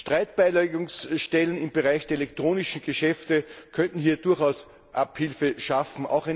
Streitbeilegungsstellen im Bereich der elektronischen Geschäfte könnten hier durchaus Abhilfe schaffen.